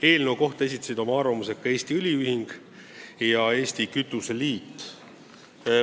Eelnõu kohta esitasid oma arvamuse ka Eesti Õliühing ja Eesti Kütuseliit.